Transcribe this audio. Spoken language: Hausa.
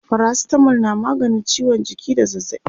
paracetamol na maganin ciwon jiki da zazzaɓi